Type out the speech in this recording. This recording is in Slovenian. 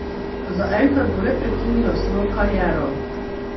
Zaenkrat bo le prekinila svojo kariero.